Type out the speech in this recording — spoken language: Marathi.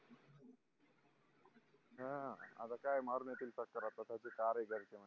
ह आता काय मारून येतील